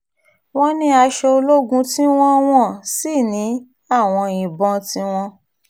wọ́n ní aṣọ ológun tiwọn wọ́n sì ní àwọn ìbọn tiwọn